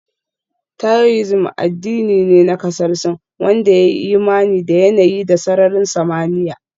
Taoism addini ne na kasar Sin wanda ya yi imani da yanayi da sararin samaniya